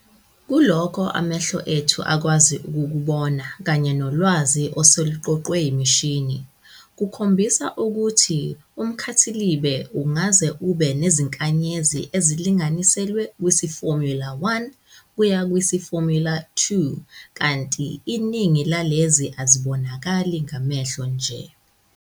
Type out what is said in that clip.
Kulokho amehlo ethu akwazi ukukubona kanye nolwazi oseluqoqwe imishini, kukhombisa ukuthi umKhathilibe ungase ube nezinkanyezi ezilinganiselwe kwisi-formula_1 kuya kwisi-formula_2, kanti iningi lalezi azibonakali ngamehlo nje.